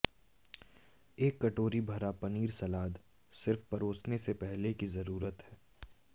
एक टोकरी भरा पनीर सलाद सिर्फ परोसने से पहले की जरूरत है